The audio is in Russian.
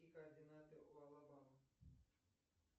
какие координаты у алабамы